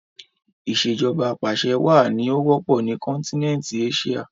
Ìsèjọba apàṣẹwà ni ó wọ́pọ̀ ni kọ́nkínẹntí Éṣíà